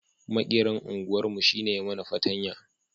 Maƙeran unguwar mu shi ne ya mana patanya